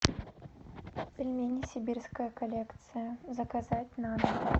пельмени сибирская коллекция заказать на дом